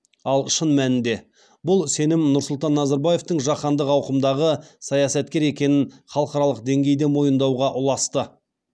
ал шын мәнінде бұл сенім нұрсұлтан назарбаевтың жаһандық ауқымдағы саясаткер екенін халықаралық деңгейде мойындауға ұласты